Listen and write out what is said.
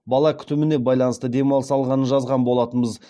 бала күтіміне байланысты демалыс алғанын жазған болатынбыз